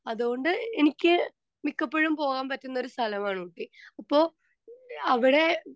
Speaker 2 അത് കൊണ്ട് എനിക്ക് മിക്കപ്പോഴും പോകാൻ പറ്റുന്ന ഒരു സ്ഥലമാണ് ഊട്ടി. അപ്പൊ അവിടെ